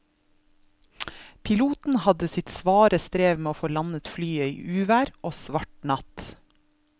Piloten hadde sitt svare strev med å få landet flyet i uvær og svart natt.